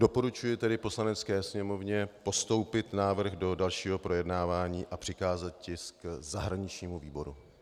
Doporučuji tedy Poslanecké sněmovně postoupit návrh do dalšího projednávání a přikázat tisk zahraničnímu výboru.